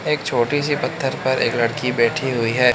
एक छोटी सी पत्थर पर एक लड़की बैठी हुई है।